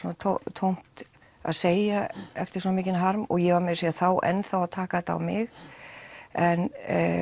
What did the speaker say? tómt að segja eftir svona mikinn harm og ég var meira að segja þá enn þá að taka þetta á mig en